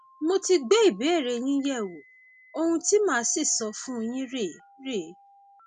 mo ti gbé ìbéèrè yín yẹwò ohun tí màá sì sọ fún yín rèé rèé